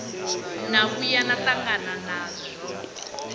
na vhuya na tangana nazwo